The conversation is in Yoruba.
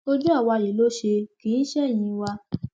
ojú àwa yìí ló ṣe kì í ṣe ẹyìn wa